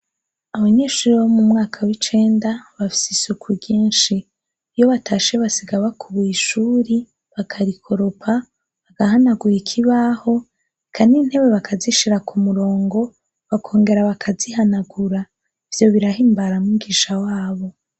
Abanyeshure bo mumwaka w'icenda bafise isuku ryinshi iyo batashe basiga bakubuye ishuri, bakarikoropa, bagahanagura ikibaho eka n-intebe bakazishira kumurongo bakongera bakazihanagura ivyo birahimbara mwigisha wabo.